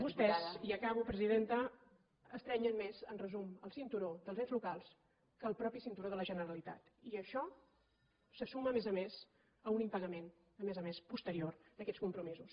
vostès i acabo presidenta estrenyen més en resum el cinturó dels ens locals que el propi cinturó de la generalitat i això se suma a més a més a un impagament a més a més posterior d’aquests compromisos